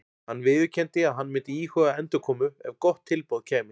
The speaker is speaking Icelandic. Hann viðurkenndi að hann myndi íhuga endurkomu ef gott tilboð kæmi.